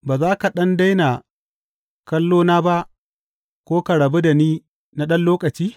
Ba za ka ɗan daina kallo na ba ko ka rabu da ni na ɗan lokaci?